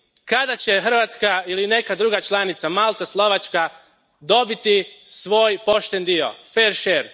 Kada će Hrvatska ili neka druga članica, Malta, Slovačka, dobiti svoj pošten dio, fair share?